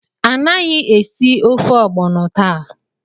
Anaghị esi ofe ogbono taa!